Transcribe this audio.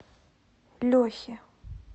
лехе